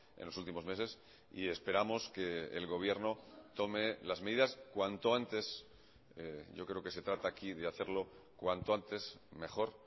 en los últimos meses y esperamos que el gobierno tome las medidas cuanto antes yo creo que se trata aquí de hacerlo cuanto antes mejor